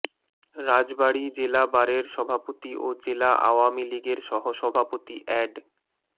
রাজবাড়ী জেলা বারের সভাপতি ও জেলা আওয়মী লীগের সহসভাপতি অ্যাড